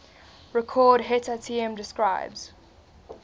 record hetatm describes